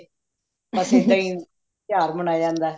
ਬੱਸ ਇੱਦਾਂ ਹੀ ਤਿਉਹਾਰ ਮਨਾਇਆ ਜਾਂਦਾ